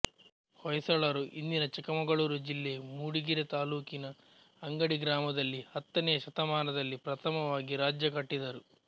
ಹೊಯ್ಸಳರು ಇಂದಿನ ಚಿಕ್ಕಮಗಳೂರು ಜಿಲ್ಲೆ ಮೂಡಿಗೆರೆ ತಾಲ್ಲೂಕಿನ ಅಂಗಡಿ ಗ್ರಾಮದಲ್ಲಿ ಹತ್ತನೆಯ ಶತಮಾನದಲ್ಲಿ ಪ್ರಥಮವಾಗಿ ರಾಜ್ಯ ಕಟ್ಟಿದರು